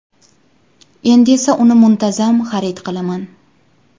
Endi esa uni muntazam xarid qilaman”.